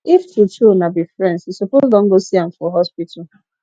if true true una be friends you suppose don go see am for hospital